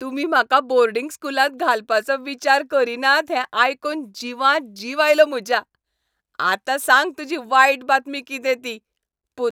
तुमी म्हाका बोर्डिंग स्कूलांत घालपाचो विचार करीनात हें आयकून जिवांत जीव आयलो म्हज्या. आतां सांग तुजी वायट बातमी कितें ती. पूत